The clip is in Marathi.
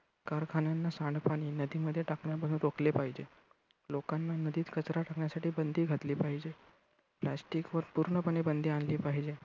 कारखान्यांना सांडपाणी नदीमध्ये टाकण्यापासून रोखले पाहिजे. लोकांना नदीत कचरा टाकण्यासाठी बंदी घातली पाहिजे. plastic वर पूर्णपणे बंदी आणली पाहीजे.